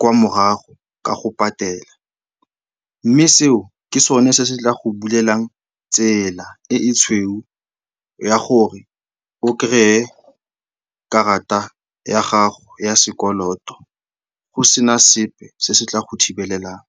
kwa morago ka go patela. Mme seo ke sone se se tla go bulelang tsela e e tshweu ya gore o kry-e karata ya gago ya sekoloto go sena sepe se se tla go thibelelang.